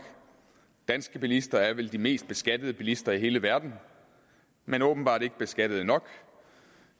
danske bilister er vel de mest beskattede bilister i hele verden men åbenbart ikke beskattet nok